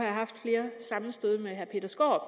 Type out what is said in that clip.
jeg haft flere sammenstød med herre peter skaarup